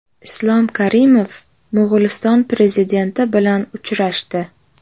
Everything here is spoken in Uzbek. Islom Karimov Mo‘g‘uliston Prezidenti bilan uchrashdi.